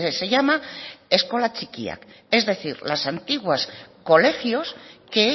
se llama eskola txikiak es decir los antiguos colegios que